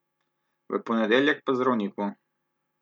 V ponedeljek pa k zdravniku!